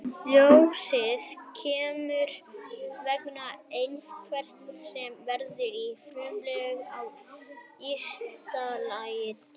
Ljósið kemur vegna efnahvarfa sem verða í frumum á ysta lagi dýranna.